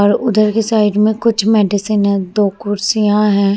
और उधर के साइड में कुछ मेडिसिन है दो कुर्सियां है |